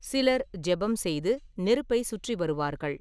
சிலர் ஜெபம் செய்து நெருப்பைச் சுற்றி வருவார்கள்.